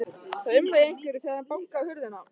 Það umlaði í einhverjum þegar hann bankaði á hurðina.